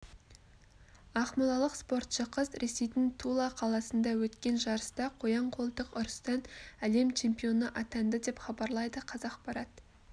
ақмолалық спортшы қыз ресейдің тула қаласында өткен жарыста қоян-қолтық ұрыстан әлем чемпионы атанды деп хабарлайды қазақпарат